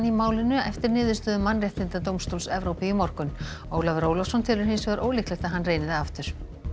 málinu eftir niðurstöðu Mannréttindadómstóls Evrópu í morgun Ólafur Ólafsson telur hins vegar ólíklegt að hann reyni það aftur